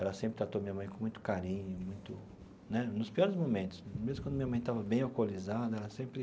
Ela sempre tratou minha mãe com muito carinho muito né, nos piores momentos, mesmo quando minha mãe estava bem alcoolizada, ela sempre